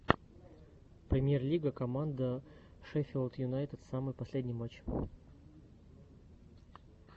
премьер лига команда шеффилд юнайтед самый последний матч